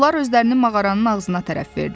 Onlar özlərini mağaranın ağzına tərəf verdilər.